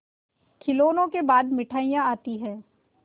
खिलौनों के बाद मिठाइयाँ आती हैं